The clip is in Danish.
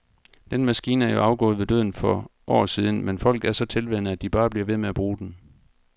Den maskine er jo afgået ved døden for år siden, men folk er så tilvænnet, at de bare bliver ved med at bruge den.